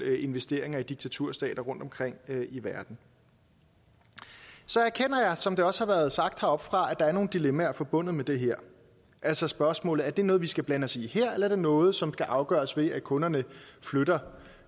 investeringer i diktaturstater rundtomkring i verden så erkender jeg som det også har været sagt heroppefra at der er nogle dilemmaer forbundet med det her altså spørgsmålet er det noget vi skal blande os i her eller er det noget som skal afgøres ved at kunderne flytter